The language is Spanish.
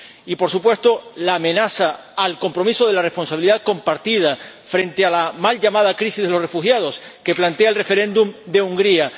y, por supuesto, la amenaza al compromiso de la responsabilidad compartida frente a la mal llamada crisis de los refugiados, que plantea el referéndum de Hungría.